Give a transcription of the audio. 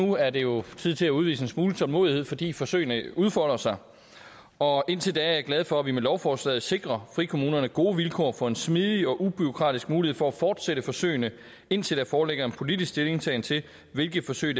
nu er det jo tid til at udvise en smule tålmodighed fordi forsøgene udfolder sig og indtil da er jeg glad for at vi med lovforslaget sikrer frikommunerne gode vilkår for en smidig og ubureaukratisk mulighed for at fortsætte forsøgene indtil der foreligger en politisk stillingtagen til hvilke forsøg